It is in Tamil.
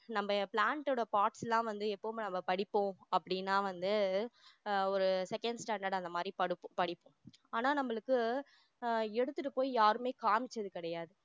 நம்ம plant ஓட parts லாம் வந்து எப்பவுமே நம்ம படிப்போம் அப்டின்னா வந்து ஆஹ் ஒரு second standard அந்த மாதிரி படுப்போம் படிப்போம் ஆனா நம்மளுக்கு ஆஹ் எடுத்திட்டு போய் யாருமே காமிச்சது கிடையாது